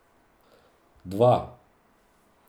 Dva!